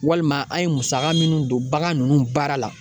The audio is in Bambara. Walima an ye musaka minnu don bagan nunnu baara la